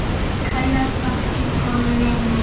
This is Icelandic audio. Kærar þakkir, góði vinur.